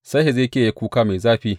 Sai Hezekiya ya yi kuka mai zafi.